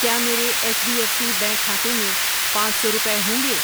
کیا میرے H D F C bank کھاتے میں پانچ سو روپے ہوںگے؟